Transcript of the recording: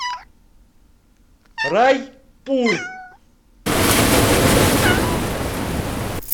райпур